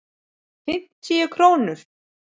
Fimmtíu krónur?